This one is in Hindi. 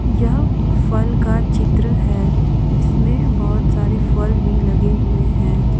यह फल का चित्र है जिसमे बहुत से फल भी लगे हुए हैं।